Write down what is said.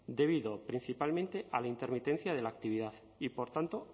debido principalmente a la intermitencia de la actividad y por tanto